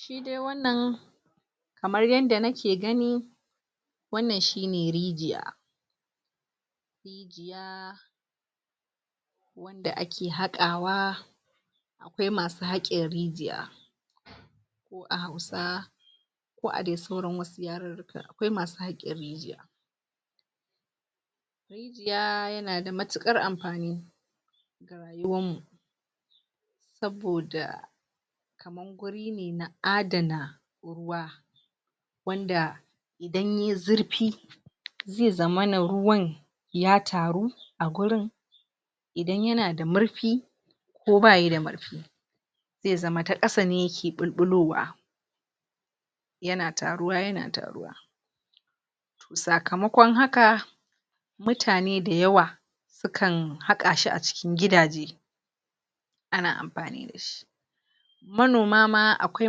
shi dai wannan kamar yanda nake gani wannan shine rijiya da ake hakawa akwai masu hake rijiya ko a hausa ko a dai sauran yarirrika akwai masu haka rijiya yaa yanada mutukar amfani ga rayuwan mu saboda gurine na adana wa wanda dan yayi zurfi za zamana ruwan ya taru a wurin idan yanada murfi ko bayida murfe ze zama ta kasane yake ɓulɓulowa yana taruwa yana taruwa to sakamakon haka mutane dayawa sukan hakashi cikin gidaje ana amfani dashi manoma ma akwai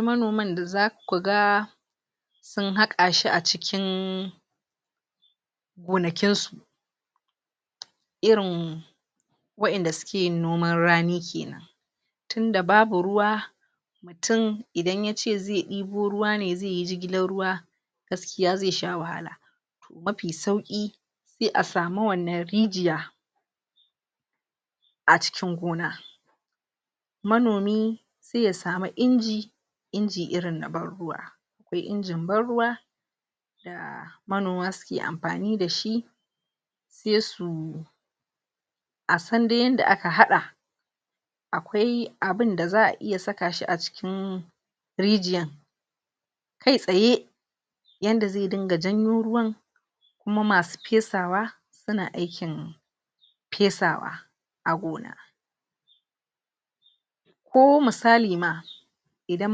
manoman dazakuga sun haka shi acikin gonakinsu irin waƴanda suke noman rani kenan tunda babu ruwa tun idan yace ze debo ruwa zeyi jigilar ruwa gaskiya ze sha wahala mafi sauki sai asamu wannan rijiya acikin gona manomi se ya samu inji inji irin na banruwa akwai inji banruwa da manoma suke amfani dashi sai su asande yanda aka hada akwai abinda iya sakashi acikin rijiyan kai tsaye yanda ze dinga janyo ruwan kuma masu fesawa suna aikin fesawa a gona ko misali ma idan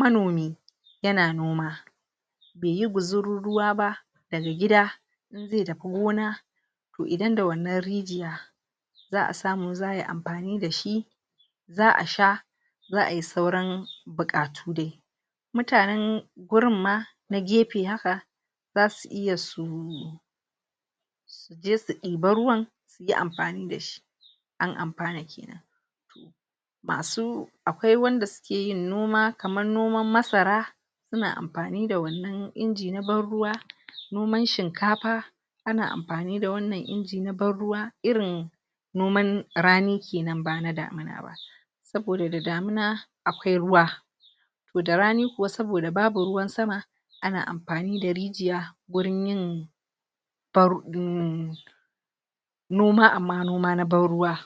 manomi yana noma beyi guzuru ruwa ba daga gida inze tafi gona to idan da wannan rijiya zaʼa samu zaʼa yi amfani dashi za ʼa sha zaʼayi sauran bukatu dai mutanen wurin ma na gefe haka zasu iya su je su ɗeba ruwa suyi amfani dashi an amfana kenan masu akwai wanda sukeyin noma kamar noman masara suna amfani da wannan inji na banruwa noman shinkafa ana amfani da wanan inji na banruwa irin noman rani kenan bana damina ba saboda da damina akwai ruwa to da rani wai saboda babu ruwan sama ana amfanida rijiya wurin yin noma amma noma na banruwa